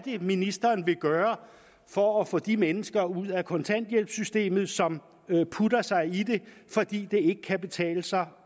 ministeren vil gøre for at få de mennesker ud af kontanthjælpssystemet som putter sig i det fordi det ikke kan betale sig